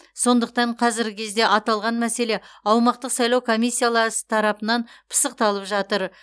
сондықтан қазіргі кезде аталған мәселе аумақтық сайлау комиссиялар тарапынан пысықталып жатыр